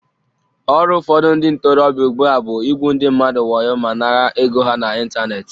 Ọrụ ụfọdụ ndị ntorobịa ugbua bụ igwu ndị mmadụ wayo ma nara ego ha n'Ịntanet